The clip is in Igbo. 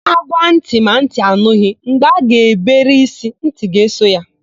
Ágwá ntị ma ntị anụghị; mgbe a ga-ebere ísí, ntị ga-eso ya.